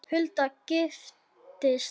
Hulda giftist Hannesi Hall.